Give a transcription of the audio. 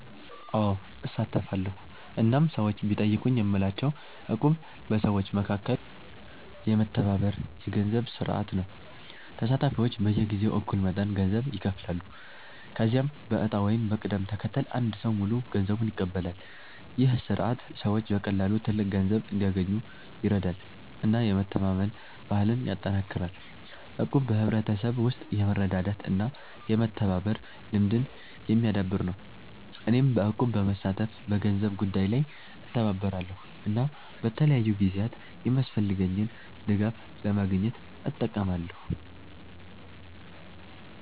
አዎ፣ እሳተፋለሁ እናም ሰዎች ቢጠይቁኝ የምላቸው እቁብ በሰዎች መካከል የሚደረግ የመተባበር የገንዘብ ስርዓት ነው። ተሳታፊዎች በየጊዜው እኩል መጠን ገንዘብ ይከፍላሉ፣ ከዚያም በዕጣ ወይም በቅደም ተከተል አንድ ሰው ሙሉ ገንዘቡን ይቀበላል። ይህ ስርዓት ሰዎች በቀላሉ ትልቅ ገንዘብ እንዲያገኙ ይረዳል እና የመተማመን ባህልን ያጠናክራል። እቁብ በሕብረተሰብ ውስጥ የመረዳዳት እና የመተባበር ልምድን የሚያዳብር ነው። እኔም በእቁብ በመሳተፍ በገንዘብ ጉዳይ ላይ እተባበራለሁ እና በተለያዩ ጊዜያት የሚያስፈልገኝን ድጋፍ ለማግኘት እጠቀማለሁ።